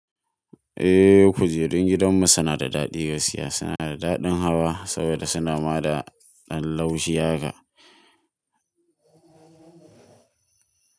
Eh, kujerun gidanmu suna da daɗi gaskiya. Suna da daɗin hawa saboda suna ma da ɗan laushi haka.